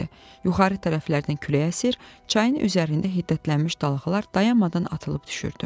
Yuxarı tərəflərdən külək əsir, çayın üzərində hiddətlənmiş dalğalar dayanmadan atılıb düşürdü.